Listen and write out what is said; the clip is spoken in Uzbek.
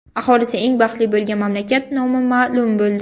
Aholisi eng baxtli bo‘lgan mamlakat nomi ma’lum bo‘ldi.